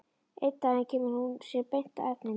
Einn daginn kemur hún sér beint að efninu.